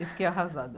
Eu fiquei arrasada.